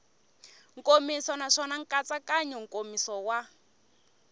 nkomiso naswona nkatsakanyo nkomiso wa